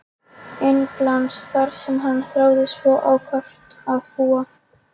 Englands þar sem hann þráði svo ákaft að búa.